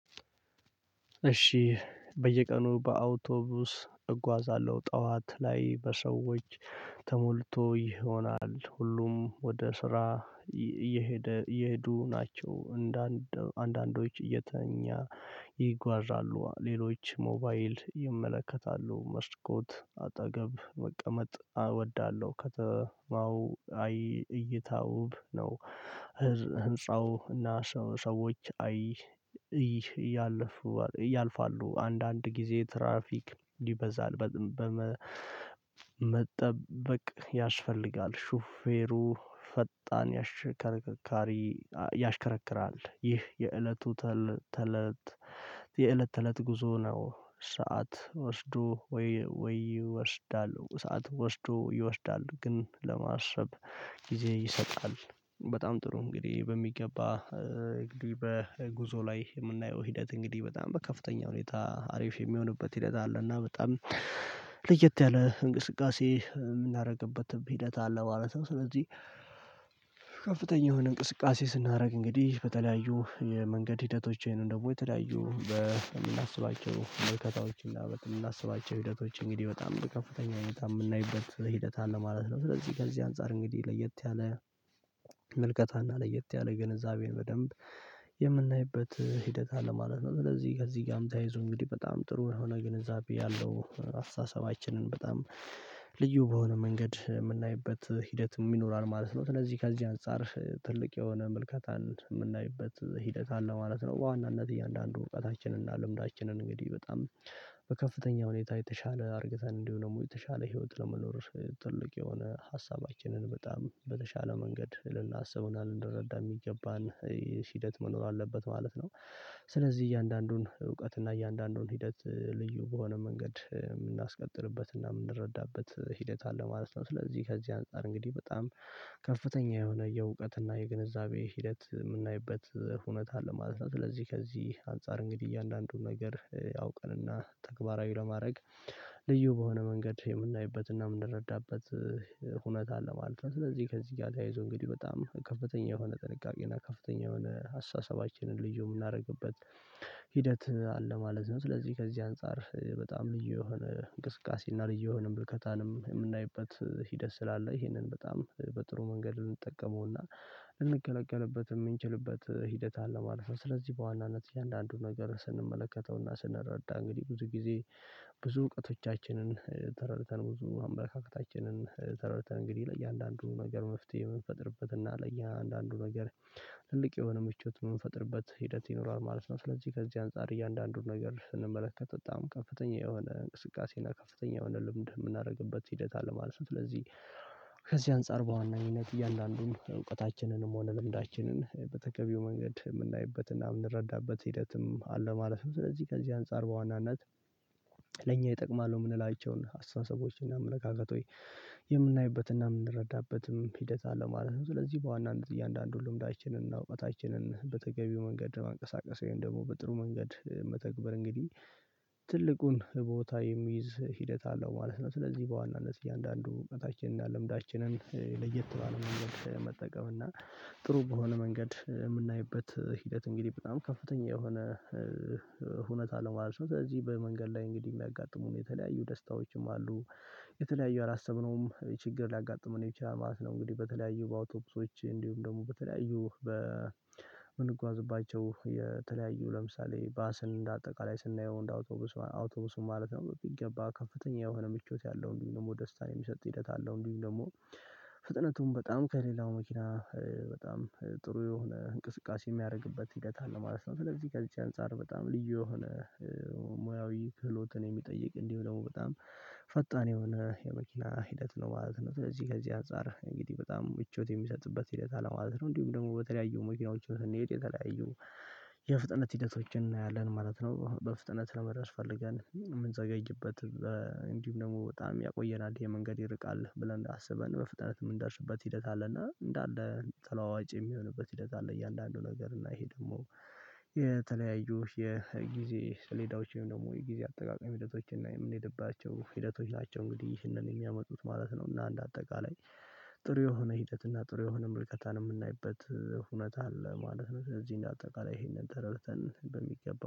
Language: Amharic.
እሺ በየቀኑ በአውቶቡስ እጓዛለሁ ጠዋት ላይ በሰዎች ተሞልቶ ይሆናል ሁሉም ወደ ስራ እየሄደ እየሄዱ ናቸው። እንደ አንዳንዶች እየተኛ ይጓዛሉ። ሌሎች ሞባይል ይመለከታሉ መስኮት አጠገብ መቀመጥ እወዳለሁ። ከተማው ላይ እይታው ውብ ነው። ህንፃው እና ሰው ሰዎች እያለፉ ያልፉሉ አንዳንድ ጊዜ ትራፊክ ይበዛል። መጠበቅ ያስፈልጋል ሹፌሩ ፈጣን ያሽከርካሪ ያሽከረክራል ይህ የእለቱ ተለት የእለት ተእለት ጉዞ ነው። ሰዓት ወስዶ ወይ ይወስዳል? ሰዓት ወስዶ ይወስዳሉ ግን ለማሰብ ጊዜ ይሰጣል። በጣም ጥሩ እንግዲህ በሚገባ እንግዲህ በጉዞ ላይ የምናየው ሂደት እንግዲህ በጣም በከፍተኛ ሁኔታ አሪፍ የሚሆንበት ሂደት አለና በጣም ለየት ያለ እንቅስቃሴ የምናደርግበት ሂደት አለ ማለት ነው። ስለዚህ ከፍተኛ የሆነ እንቅስቃሴ ስናደርግ እንግዲህ በተለያዩ የመንገድ ሂደቶችን ደግሞ የተለያዩ በምናስባቸው መልከታዎችና የምናስባቸው ሂደቶች እንግዲህ በጣም በከፍተኛ ሁኔታ የምናይበት ሂደት አለ ማለት ነው። ስለዚህ ከዚህ አንፃር እንግዲህ ለየት ያለ ምልከታና ለየት ያለ ግንዛቤን በደንብ የምናይበት ሂደት አለ ማለት ነው። ስለዚህ ከዚህ ጋርም ተያይዞ እንግዲህ በጣም ጥሩ የሆነ ግንዛቤ ያለው አስተሳሰባችንን በጣም ልዩ በሆነ መንገድ የምናይበት ሂደትም ይኖራል ማለት ነው። ስለዚህ ከዚህ አንፃር ትልቅ የሆነ ምልከታን የምናይበት ሂደት አለ ማለት ነው። በዋናነት እያንዳንዱ እውቀታችንን እና ልምዳችንን እንግዲህ በጣም በከፍተኛ ሁኔታ የተሻለ አድርገን እንዲሁም ደግሞ የተሻለ ህይወት ለመኖር ትልቅ የሆነ ሀሳባችንን በጣም በተሻለ መንገድ ልናስብ እና ልንረዳ የሚገባን ሂደት መኖር አለበት ማለት ነው። ስለዚህ እያንዳንዱን እውቀት እና እያንዳንዱን ሂደት ልዩ በሆነ መንገድ የምናስቀጥልበት እና የምንረዳበት ሂደት አለ ማለት ነው። ስለዚህ ከዚህ አንፃር እንግዲህ በጣም ከፍተኛ የሆነ የእውቀት እና የግንዛቤ ሂደት የምናይበት ሁኔታ አለ ማለት ነው። ስለዚህ ከዚህ አንፃር እንግዲህ እያንዳንዱን ነገር አውቀንና ተግባራዊ ለማድረግ ልዩ በሆነ መንገድ የምናይበትና የምንረዳበት ሁኔታ አለ ማለት ነው። ስለዚህ ከዚህ ጋር ተያይዞ እንግዲህ በጣም ከፍተኛ የሆነ ጥንቃቄ እና ከፍተኛ የሆነ አስተሳሰባችንን ልዩ የምናደርግበት ሂደት አለ ማለት ነው። ስለዚህ ከዚህ አንፃር በጣም ልዩ የሆነ እንቅስቃሴና ልዩ የሆነ ምልከታንም የምናይበት ሂደት ስላለ ይሄንን በጣም በጥሩ መንገድ እንጠቀመውና ልንገለገልበት የምንችልበት ሂደት አለ ማለት ነው። ስለዚህ በዋናነት የእያንዳንዱን ነገር ስንመለከተውና ስንረዳ እንግዲህ ብዙ ጊዜ ብዙ እውቀቶቻችንን ተረድተን ብዙ አመለካከታችንን ተረድተን እንግዲህ ለእያንዳንዱ ነገር መፍትሄ የምንፈጥርበት እና ለእያንዳንዱ ነገር ትልቅ የሆነ ምቾት የምንፈጥርበት ሂደት ይኖራል ማለት ነው። ስለዚህ ከዚህ አንፃር እያንዳንዱን ነገር ስንመለከት በጣም ከፍተኛ የሆነ እንቅስቃሴና ከፍተኛ የሆነ ልምድ የምናደርግበት ሂደት አለ ማለት ነው። ስለዚህ ከዚህ አንፃር በዋነኝነት እያንዳንዱን እውቀታችንንም ሆነ ልምዳችንን በተገቢው መንገድ የምናይበትና የምንረዳበት ሂደትም አለ ማለት ነው። ስለዚህ ከዚህ አንፃር በዋናነት ለእኛ ይጠቅማሉ የምንላቸውን አስተሳሰቦችን እና አመለካከቶች የምናይበትና የምንረዳበትም ሂደት አለ ማለት ነው። ስለዚህ በዋናነት እያንዳንዱን ልምዳችንን እና እውቀታችንን በተገቢው መንገድ ለማንቀሳቀስ ወይም ደግሞ በጥሩ መንገድ መተግበር እንግዲህ ትልቁን ቦታ የሚይዝ ሂደት አለው ማለት ነው። ስለዚህ በዋናነት እያንዳንዱ እውቀታችንን እና ልምዳችንን ለየት ባለ መንገድ መጠቀም እና ጥሩ በሆነ መንገድ የምናይበት ሂደት እንግዲህ በጣም ከፍተኛ የሆነ ሁኔታ አለ ማለት ነው። ስለዚህ በመንገድ ላይ እንግዲህ የሚያጋጥሙን የተለያዩ ደስታዎችም አሉ። የተለያዩ ያላሰብነውም ችግር ሊያጋጥመን ይችላል ማለት ነው። እንግዲህ በተለያዩ በአውቶቡሶች እንዲሁም ደግሞ በተለያዩ በምንጓዝባቸው የተለያዩ ለምሳሌ ባስን እንደ አጠቃላይ ስናየው እንደ አውቶቡስ አውቶቡስን ማለት ነው በሚገባ ከፍተኛ የሆነ ምቾት ያለው እንዲሁም ደስታን የሚሰጥ ሂደት አለው። እንዲሁም ደግሞ ፍጥነቱም በጣም ከሌላው መኪና በጣም ጥሩ የሆነ እንቅስቃሴ የሚያደርግበት ሂደት አለ ማለት ነው። ስለዚህ ከዚህ አንፃር በጣም ልዩ የሆነ ሙያዊ ክህሎትን የሚጠይቅ እንዲሁ ደግሞ በጣም ፈጣን የሆነ የመኪና ሂደት ነው ማለት ነው። ስለዚህ ከዚህ አንፃር እንግዲህ በጣም ምቾት የሚሰጥበት ሂደት አለ ማለት ነው። እንዲሁም ደግሞ በተለያዩ መኪናዎችን ስንሄድ የተለያዩ የፍጥነት ሂደቶችን እናያለን ማለት ነው። በፍጥነት ለመድረስ ፈልገን የምንዘገይበትም እንዲሁም ደግሞ በጣም ያቆየናል ይሄ መንገድ ይርቃል ብለን አስበን በፍጥነት የምንደርስበት ሂደት አለና እንዳለ ተለዋዋጭ የሚሆንበት ሂደት አለ። እያንዳንዱ ነገር እና ይሄ ደግሞ የተለያዩ የጊዜ ሰሌዳዎችን ደግሞ የጊዜ አጠቃቀም ሂደቶች እና የምንሄድቸው ሂደቶች ናቸው። እንግዲህ ይህንን የሚያመጡት ማለት ነው። እና እንደ አጠቃላይ ጥሩ የሆነ ሂደት እና ጥሩ የሆነ ምልከታን የምናይበት ሁኔት አለ ማለት ነው። ስለዚህ እንደ አጠቃላይ ይሄንን ተረድተን በሚገባ